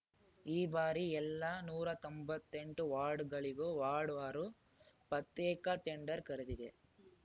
ಈ ಬಾರಿ ಎಲ್ಲಾ ನೂರಾ ತೊಂಬತ್ತೆಂಟು ವಾರ್ಡುಗಳಿಗೂ ವಾರ್ಡ್‌ವಾರು ಪ್ರತ್ಯೇಕ ಟೆಂಡರ್‌ ಕರೆದಿದೆ